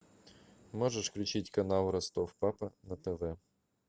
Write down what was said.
можешь включить канал ростов папа на тв